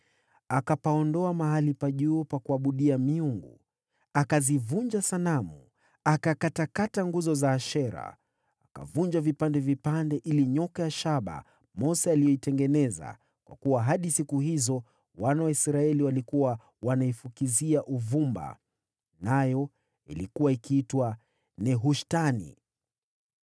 Akapaondoa mahali pa juu pa kuabudia miungu, akazivunja sanamu, akakatakata nguzo za Ashera. Akavunja vipande vipande ile nyoka ya shaba Mose aliyotengeneza, kwa kuwa hadi siku hizo wana wa Israeli walikuwa wanaifukizia uvumba (ilikuwa ikiitwa Nehushtani ).